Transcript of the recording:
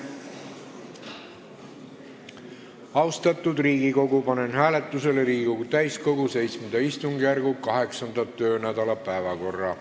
Austatud Riigikogu, panen hääletusele Riigikogu täiskogu VII istungjärgu 8. töönädala päevakorra.